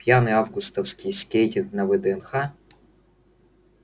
пьяный августовский скейтинг на вднх